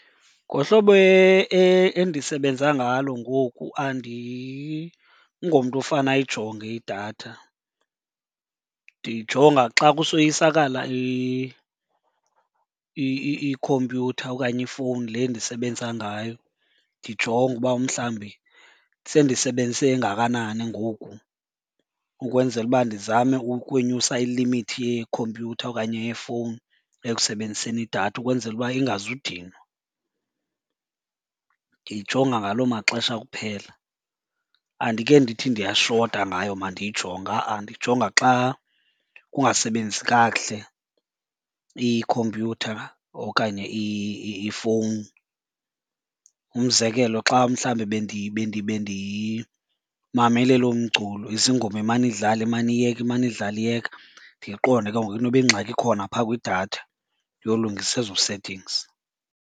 Ngohlobo endisebenza ngalo ngoku andingomntu ofane ayijonge idatha, ndiyijonga xa kusoyisakala ikhompyutha okanye ifowuni le ndisebenza ngayo. Ndijonge uba mhlawumbi sendisebenzise engakanani ngoku ukwenzela uba ndizame ukwenyusa ilimithi yeekhompyutha okanye yefowuni ekusebenziseni idatha ukwenzela uba ingazudinwa. Ndiyijonga ngaloo maxesha kuphela. Andike ndithi ndiyashota ngayo mandiyijonge ha-a, ndiyijonga xa kungasebenzi kakuhle ikhompyutha okanye ifowuni. Umzekelo xa mhlawumbi bendimamele loo mculo, as ingoma imane idlale imane iyeka, imane idlala iyeka, ndiyiqonde ke ngoku inoba ingxaki ikhona phaa kwidatha ndiyolungisa ezo settings.